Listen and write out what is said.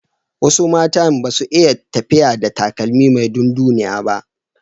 Wasu matan ba su iya tafiya da takalmi mai dunduniya ba.